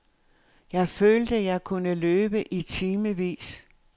Jeg følte, jeg kunne løbe i timevis.